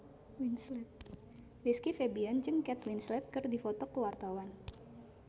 Rizky Febian jeung Kate Winslet keur dipoto ku wartawan